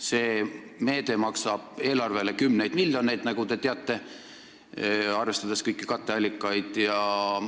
See meede maksab eelarvele kümneid miljoneid, nagu te teate, arvestades kõiki katteallikaid.